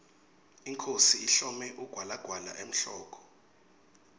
inkhosi ihlome ugwalagwala emhloko